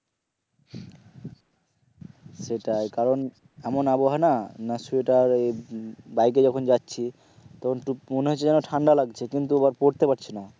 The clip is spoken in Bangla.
সেটাই কারণ এমন আবহাওয়া না না সোয়েটার এই বাইক এ যখন যাচ্ছি তখন মনে হচ্ছে যেন ঠান্ডা লাগছে কিন্তু পড়তে পারছিনা